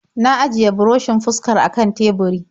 Na ajiye burushin fuskar a kan teburi.